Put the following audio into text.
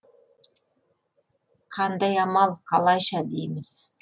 қандай амал қалайша дейміз